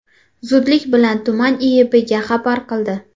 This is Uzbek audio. zudlik bilan tuman IIBga xabar qildi.